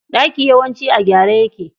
Ɗaki yawanci a gyare yake.